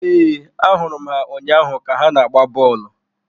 Ee, ahụrụ m ha ụnyaahụ ka ha na-agba bọọlụ.